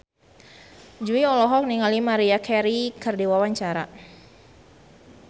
Jui olohok ningali Maria Carey keur diwawancara